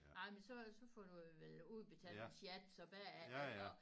Ej men så så får du vel udbetalt en sjat så bagefter